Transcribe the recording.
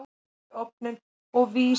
Ég skal fara niður í bæ og selja blöð.